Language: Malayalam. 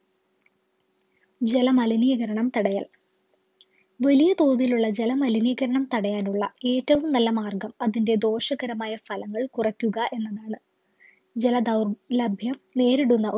ജല മലിനീകരണം തടയൽ വലിയ തോതിലുള്ള ജല മലിനീകരണം തടയാനുള്ള ഏറ്റവും നല്ല മാർഗം അതിൻ്റെ ദോഷകരമായ ഫലങ്ങൾ കുറക്കുക എന്നതാണ് ജല ദൗർലബ്യം നേരിടുന്ന